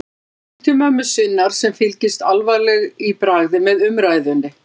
Hún lítur til mömmu sinnar sem fylgist alvarleg í bragði með umræðunni.